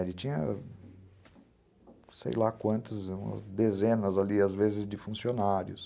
Ele tinha, sei lá quantas, umas dezenas ali, às vezes, de funcionários.